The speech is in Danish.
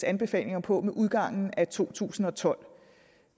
anbefalinger på med udgangen af to tusind og tolv